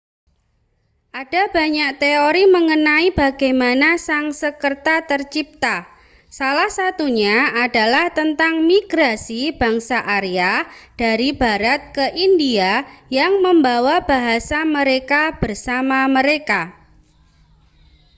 ada banyak teori mengenai bagaimana sansekerta tercipta salah satunya adalah tentang migrasi bangsa arya dari barat ke india yang membawa bahasa mereka bersama mereka